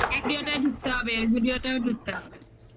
এই zudio ঢুকতে হবে zudio ঢুকতে হবে